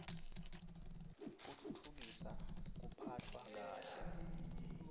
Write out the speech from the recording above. kutfutfukisa kuphatfwa kahle